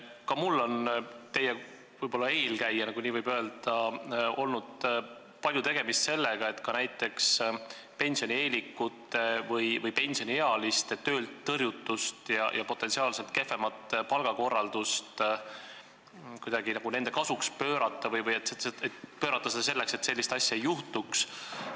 Ka mul oli teie eelkäijana, kui nii võib öelda, palju tegemist sellega, et näiteks pensionieelikute või pensioniealiste töölt tõrjutust ja potentsiaalselt kehvemat palgakorraldust kuidagi nende kasuks pöörata või pöörata seda nii, et sellist asja ei juhtuks.